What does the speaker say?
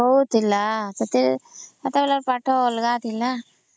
ବହୁତ ଥିଲା ସେତେବେଳେ ର ପାଠ ଅଲଗା ଥିଲା